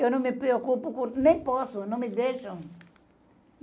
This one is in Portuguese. Eu não me preocupo com... Nem posso, não me deixam.